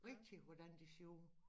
Rigtig hvordan de ser ud